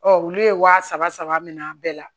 olu ye wa saba saba minɛ a bɛɛ la